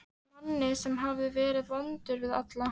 Manni sem hafði verið vondur við alla.